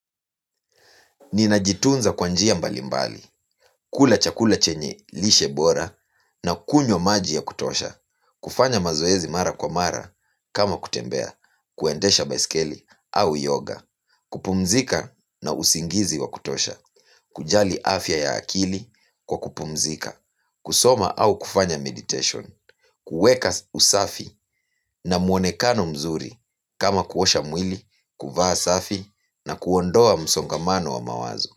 Ninajitunza kwa njia mbalimbali, kula chakula chenye lishe bora na kunywa maji ya kutosha, kufanya mazoezi mara kwa mara kama kutembea, kuendesha baiskeli au yoga, kupumzika na usingizi wa kutosha, kujali afya ya akili kwa kupumzika kusoma au kufanya meditation kuweka usafi na muonekano mzuri kama kuosha mwili, kuvaa safi na kuondoa msongamano wa mawazo.